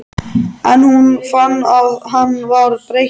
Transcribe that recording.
En hún fann að hann var breyttur.